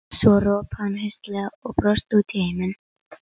Svo ropaði hann hraustlega og brosti út í heiminn.